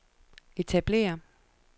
etablere